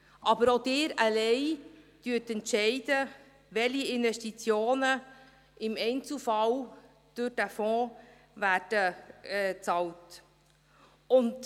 Aber auch Sie alleine entscheiden, welche Investitionen im Einzelfall durch diesen Fonds bezahlt werden.